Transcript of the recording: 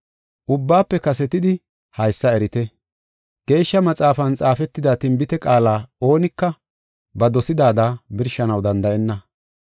Ubbaafe kasetidi haysa erite. Geeshsha Maxaafan xaafetida tinbite qaala oonika ba dosidaada birshanaw danda7enna.